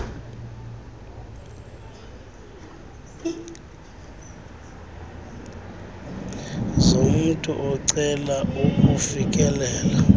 zomntu ocela ukufikelela